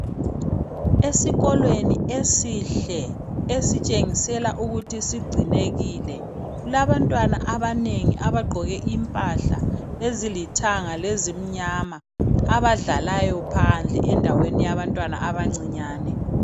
Esikolweni esihle, esitshengisa ukuthi sigcinekile kulabantwana abanengi abagqoke impahla ezilithanga lezimnyama abadlalayo phandle endaweni yabantwana abancinyane.